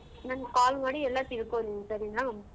ನನ್ call ಮಾಡಿ ಎಲ್ಲಾ ತಿಳ್ಕೊ ನೀನ್ ಸರಿನ.